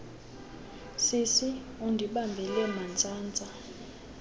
sisi undibambele mantsantsa